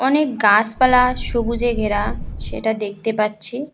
অনেক গাছপালা সবুজে ঘেরা সেটা দেখতে পাচ্ছি।